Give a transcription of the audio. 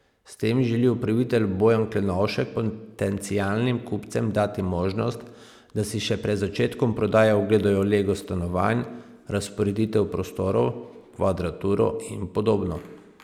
S tem želi upravitelj Bojan Klenovšek potencialnim kupcem dati možnost, da si še pred začetkom prodaje ogledajo lego stanovanj, razporeditev prostorov, kvadraturo in podobno.